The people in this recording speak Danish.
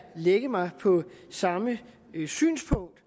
lægge mig på det samme synspunkt